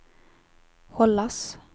hållas